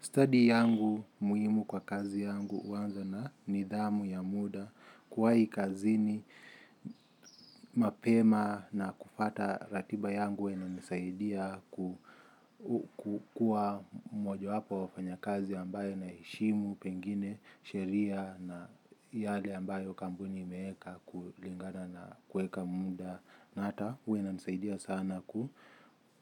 Study yangu muhimu kwa kazi yangu huanza na nidhamu ya muda kuwahi kazini mapema na kufata ratiba yangu inanisaidia kuwa mmojawapo ya wafanyakazi ambayo naheshimu pengine sheria na yale ambayo kampuni imeweka kulingana na kuweka muda. Na hata huwa inanisaidia sana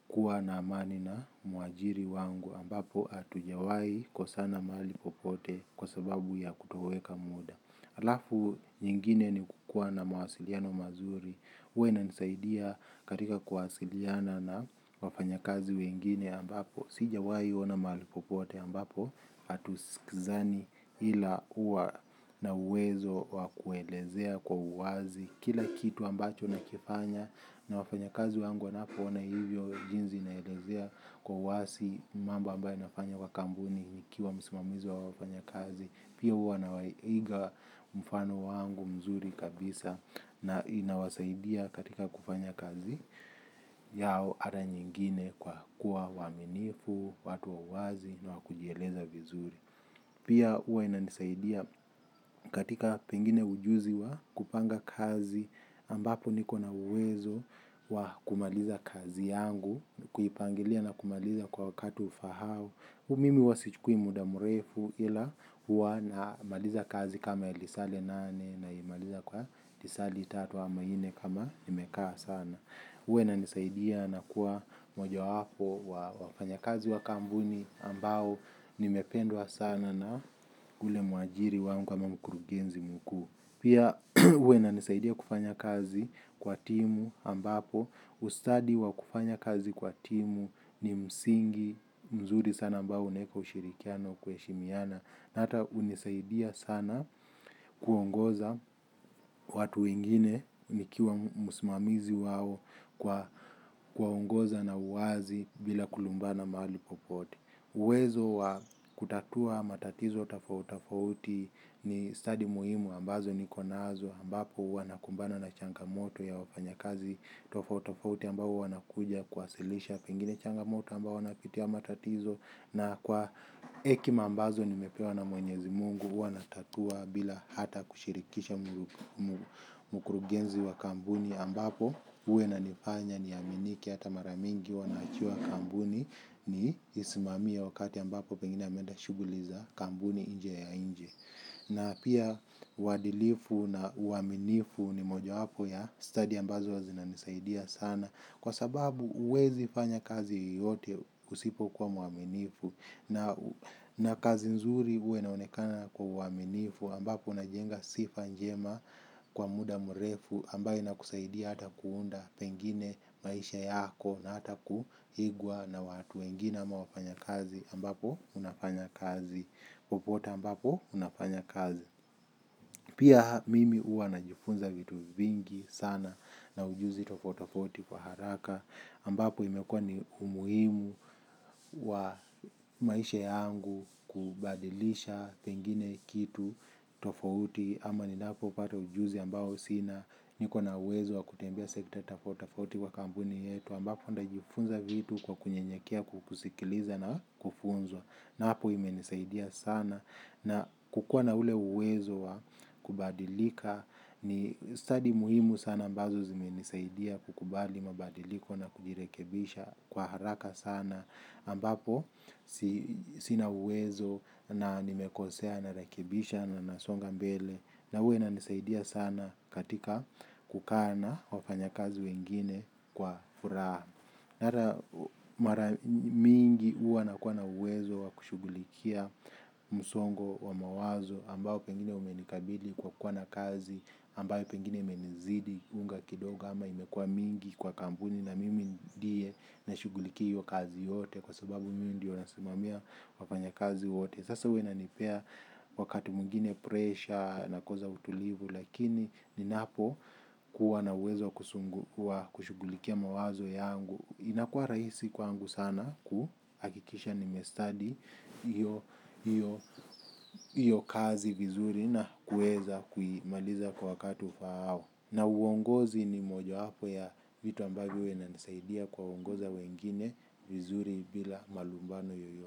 kuwa na amani na muajiri wangu ambapo hatujawahi kosana mahali popote kwa sababu ya kutoweka muda. Alafu nyingine ni kukua na mawasiliano mazuri huwa inanisaidia katika kuwasiliana na wafanyakazi wengine ambapo sijawahi ona mahali popote ambapo atusikizani ila huwa na uwezo wa kuelezea kwa uwazi kile kitu ambacho nakifanya na wafanyakazi wangu wanapoona hivyo jinsi naelezea kwa wazi mambo ambaye nafanya kwa kampuni nikiwa msimamizi wa wafanya kazi. Pia huwa nawaiga mfano wangu mzuri kabisa na inawasaidia katika kufanya kazi yao ata nyingine kwa kuwa waaminifu, watu wa wazi na wakujieleza vizuri. Pia huwa inanisaidia katika pengine ujuzi wa kupanga kazi ambapo niko na uwezo wa kumaliza kazi yangu kuipangilia na kumaliza kwa wakati ufahao. Mimi huwa sichukui muda mrefu ila huwa na maliza kazi kama ilisale nane naimaliza kwa tisali tatu ama nne kama nimekaa sana. Uwe inanisaidia na kuwa moja wapo wa wafanyakazi wa kampuni ambao nimependwa sana na ule mwajiri wangu ama mkurugenzi mkuu. Pia huwa inanisaidia kufanya kazi kwa timu ambapo, ustadi wa kufanya kazi kwa timu ni msingi, mzuri sana ambao unaweka ushirikiano kuheshimiana. Hata hunisaidia sana kuongoza watu wengine nikiwa msimamizi wao kwa kuongoza na uwazi bila kulumbana mahali popote. Uwezo wa kutatua matatizo tofauti tofauti ni stadi muhimu ambazo nikonazo ambapo huwa nakumbana na changamoto ya wafanyakazi tofauti tofauti ambapo wanakuja kuwasilisha pengine changamoto ambao wanapitia matatizo na kwa hekima ambazo nimepewa na mwenyezi mungu huwa natatua bila hata kushirikisha mkurugenzi wa kampuni ambapo huwa inanifanya niaminike hata maramingi huwa naachiwa kampuni nisimamie wakati ambapo pengine ameenda shughuli za, kampuni nje ya nchi. Na pia uwadilifu na uaminifu ni moja wapo ya stadi ambazo huwa zinanisaidia sana. Kwa sababu huwezi fanya kazi yoyote usipo kwa mwaminifu. Na kazi nzuri huwa inaonekana kwa uwaminifu ambapo unajenga sifa njema kwa muda mrefu ambayo inakusaidia hata kuunda pengine maisha yako na hata kuigwa na watu wengine ama wafanyakazi ambapo unafanya kazi popote ambapo unafanya kazi pia mimi huwa najifunza vitu vingi sana na ujuzi tofauti tofauti kwa haraka ambapo imekuwa ni umuhimu wa maisha yangu kubadilisha pengine kitu tofauti ama ninapo pata ujuzi ambao sina niko na uwezo wa kutembea sekta tofauti tofauti kwa kampuni yetu ambapo nitajifunza vitu kwa kunyenyekea kukusikiliza na kufunzwa na hapo ime nisaidia sana na kukuwa na ule uwezo wa kubadilika ni stadi muhimu sana ambazo zime nisaidia kukubali mabadiliko na kujirekebisha kwa haraka sana ambapo sina uwezo na nimekosea na rekebisha na nasonga mbele. Na huwa inanisaidia sana katika kukaa na wafanyakazi wengine kwa furaha na hata mara mingi huwa na uwezo wa kushughulikia msongo wa mawazo ambao pengine umenikabili kwa kuwa na kazi ambao pengine imenizidi unga kidogo ama imekuwa mingi kwa kampuni. Na mimi ndiye na shughulikia hiyo kazi yote kwa sababu miu ndiyo nasimamia wafanyakazi wote. Sasa huwa inanipea wakati mwingine presha nakosa utulivu lakini ninapo kuwa na uwezo kushughulikia mawazo yangu. Inakuwa rahisi kwangu sana kuhakikisha nimestadi hiyo kazi vizuri na kuweza kuimaliza kwa wakati ufaao. Na uongozi ni moja wapo ya vitu ambavyo huwa inanisaidia kuongoza wengine vizuri bila malumbano yoyote.